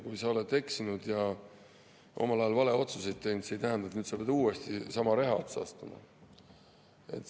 Kui sa oled eksinud ja omal ajal valeotsuseid teinud, siis see ei tähenda, et sa pead nüüd uuesti sama reha otsa astuma.